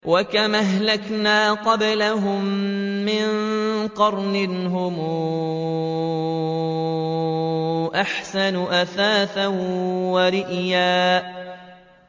وَكَمْ أَهْلَكْنَا قَبْلَهُم مِّن قَرْنٍ هُمْ أَحْسَنُ أَثَاثًا وَرِئْيًا